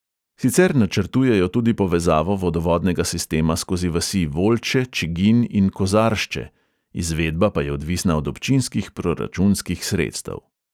Sicer načrtujejo tudi povezavo vodovodnega sistema skozi vasi volče, čiginj in kozaršče, izvedba pa je odvisna od občinskih proračunskih sredstev.